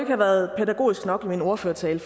have været pædagogisk nok i min ordførertale